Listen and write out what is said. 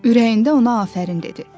Ürəyində ona afərin dedi.